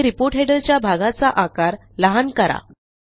पुढे report header च्या भागाचा आकार लहान करा